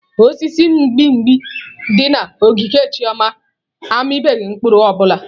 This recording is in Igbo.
Osisi mgbimgbi dị na ogige Chioma amịbeghị mkpụrụ ọ bụla.